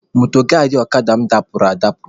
Mọdgaadị ọkada mụ dapụrụ adapụ.